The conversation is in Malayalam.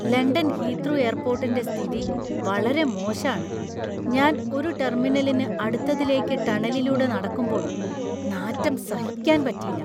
ലണ്ടൻ ഹീത്രൂ എയർപോർട്ടിന്‍റെ സ്ഥിതി വളരെ മോശാണ്. ഞാൻ ഒരു ടെർമിനലിന്ന് അടുത്തതിലേക്ക് ടണലിലൂടെ നടക്കുമ്പോൾ, നാറ്റം സഹിക്കാന്‍ പറ്റീല.